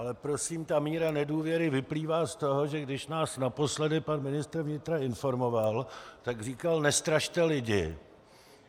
Ale prosím, ta míra nedůvěry vyplývá z toho, že když nás naposledy pan ministr vnitra informoval, tak říkal: Nestrašte lidi.